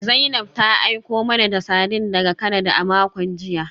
Zainab ta aiko mana da sardines daga Canada a makon jiya